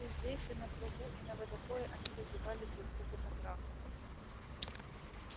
и здесь и на кругу и на водопое они вызывали друг друга на драку